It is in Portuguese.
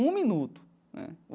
Um minuto, né?